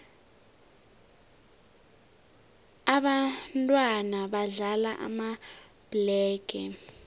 ababntwana badlala amabhlege